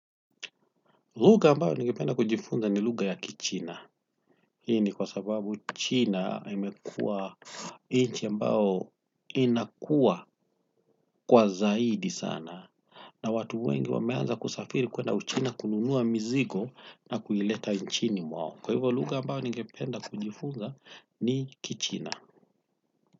Lugha ambao ningependa kujifunza ni lugha ya Kichina. Hii ni kwa sababu China imekuwa nchi ambao inakuwa kwa zaidi sana. Na watu wengi wameanza kusafiri kwenda Uchina kununua mizigo na kuileta nchini mwao. Kwa hivyo lugha ambao ningependa kujifunza ni Kichina.